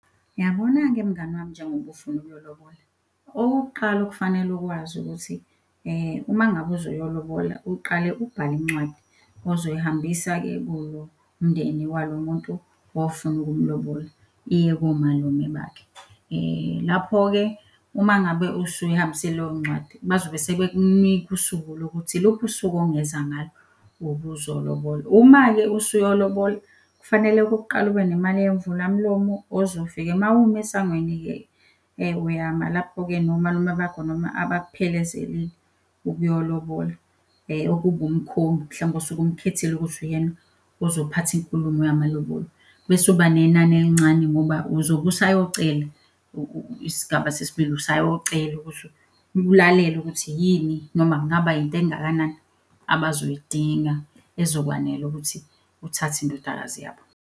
Uyabona-ke mngani wami njengoba ufuna ukuyolobola, okokuqala okufanele ukwazi ukuthi uma ngabe uzoyolobola uqale ubhale incwadi ozoyihambisa-ke kulo mndeni walo muntu ofuna ukumlobola iye komalume bakhe. Lapho-ke uma ngabe usuyihambisile leyo ncwadi bazobe sebekunika usuku lokuthi iluphi usuku ongeza ngalo ngobuzolobola. Uma-ke usuyolobola kufanele okokuqala ube nemali yemvula-mlomo ozofika mawuma esangweni-ke, uyama lapho-ke nomalume bakho noma abakuphelezelile ukuyolobola okuba umkhongi mhlawumpe osuke umkhethile ukuthi uyena ozophatha inkulumo yamalobolo. Bese uba nenani elincane ngoba uzobe usayocela, isigaba sesibili usayocela ukuthi ulalele ukuthi yini noma kungaba yinto engakanani abazoyidinga ezokwanela ukuthi uthathe indodakazi yabo.